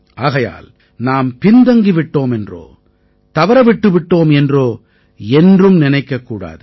ஆகையால் நாம் பின்தங்கி விட்டோம் என்றோ தவற விட்டுவிட்டோம் என்றோ என்றும் நினைக்கக்கூடாது